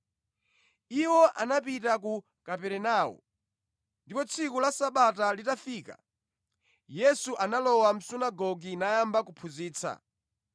Iwo anapita ku Kaperenawo, ndipo tsiku la Sabata litafika, Yesu analowa mʼsunagoge nayamba kuphunzitsa.